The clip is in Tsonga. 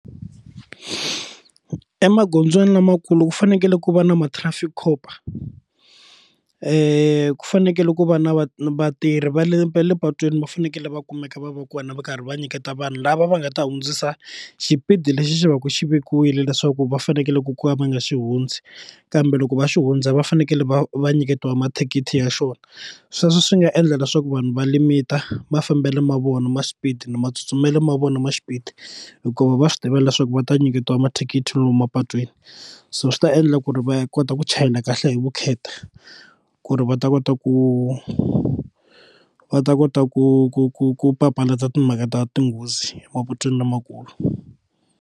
Emagondzweni lamakulu ku fanekele ku va na ma traffic cop ku fanekele ku va na vatirhi va le va le patwini va fanekele va kumeka va va kona va karhi va nyiketa vanhu lava va nga ta hundzisa xipidi lexi xi va ku xi vekiwile leswaku va fanekele ku ku va va nga xi hundzi kambe loko va xi hundza va fanekele va va nyiketiwa mathikithi ya xona sweswo swi nga endla leswaku vanhu va limit mafambelo ma vona ma xipidi na matsutsumelo ma vona ma xipidi hikuva va swi tiva leswaku va ta nyiketiwa mathikithi lomu mapatwini so swi ta endla ku ri va kota ku chayela kahle hi vukheta ku ri va ta kota ku va ta kota ku ku ku ku papalata timhaka ta tinghozi emapatwini lamakulu.